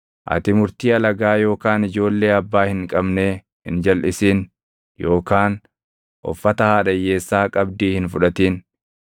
Ati murtii alagaa yookaan ijoollee abbaa hin qabnee hin jalʼisin yookaan uffata haadha hiyyeessaa qabdii hin fudhatin.